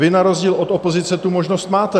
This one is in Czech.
Vy na rozdíl od opozice tu možnost máte.